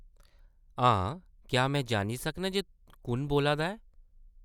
हां, क्या में जानी सकनां जे कु'न बोल्ला दा ऐ ?